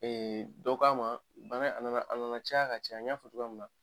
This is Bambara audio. Ee dɔ k'a ma bana a nana caya ka caya n y'a fɔ cogoya min na